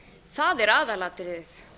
það er aðalatriðið